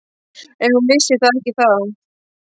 En hún vissi það ekki þá.